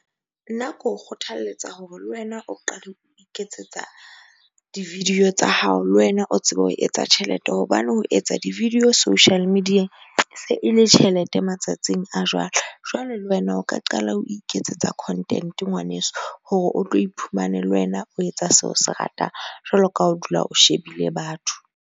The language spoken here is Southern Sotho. Nna ke o kgothaletsa hore le wena o qale ho iketsetsa di-video tsa hao, le wena o tsebe ho etsa tjhelete. Hobane ho etsa di-video social media-eng e se ele tjhelete matsatsing a jwale. Jwale le wena o ka qala o iketsetsa content-e ngwaneso hore o tlo iphumane le wena o etsa seo se ratang, jwalo ka ha o dula o shebile batho.